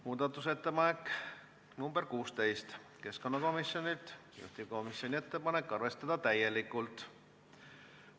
Muudatusettepanek nr 16 on keskkonnakomisjonilt, juhtivkomisjoni ettepanek on arvestada täielikult.